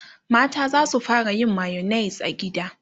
mata zasu fara yin mayonnaise a gida